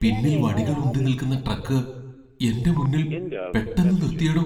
പിന്നിൽ വടികൾ ഉന്തി നിൽക്കുന്ന ട്രക്ക് എന്റെ മുന്നിൽ പെട്ടെന്ന് നിർത്തിയെടോ.